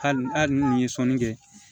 Hali ni ye sɔnni kɛ